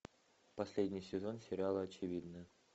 последний сезон сериала очевидное